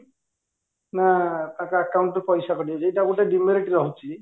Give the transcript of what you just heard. ନା ତାଙ୍କ account ରୁ ପଇସା କଟି ଯାଇଛି ଏଇଟା ଗୋଟେ demerit ରହୁଛି